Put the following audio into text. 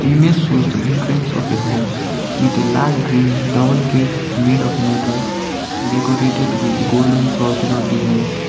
tmage shows the entrance of a house with a large green double gate made of metal decorated with golden circular designs.